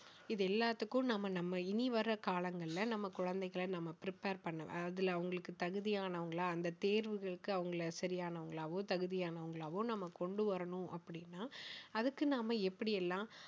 இது எல்லாத்துக்கும் நாம நம்ம இனி வர்ற காலங்கள்ல நம்ம குழந்தைகளை நம்ம prepare பண்ண~ அதுல அவங்களுக்கு தகுதியானவங்களா அந்த தேர்வுகளுக்கு அவங்கள சரியானவங்களாவும் தகுதியானவங்களாவும் நாம கொண்டு வரணும் அப்படின்னா அதுக்கு நம்ம எப்படி எல்லாம்